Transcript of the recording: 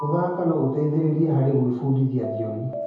Gũthaka no gũteithie harĩ gwĩbundithia thiomi.